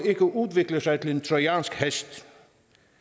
ikke udvikler sig til en trojansk hest